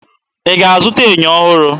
Ị ga-aga zụta ènyò ọhụrụ?